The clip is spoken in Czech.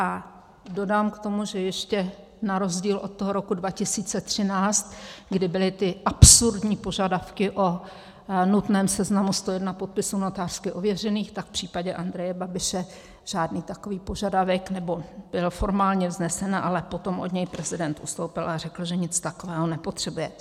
A dodám k tomu, že ještě na rozdíl od toho roku 2013, kdy byly ty absurdní požadavky o nutném seznamu 101 podpisů notářsky ověřených, tak v případě Andreje Babiše žádný takový požadavek... nebo byl formálně vznesen, ale potom od něj prezident ustoupil a řekl, že nic takového nepotřebuje.